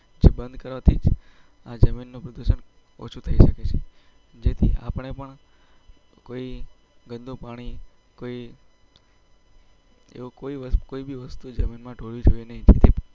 બંધ કરાતી આ જમીનનો પ્લોટ. જેથી આપણે પણ. કોઈ ગંદુ પાણી કોઈ કોઈ કોઈ વસ્તુ જમીનમાંટોળી.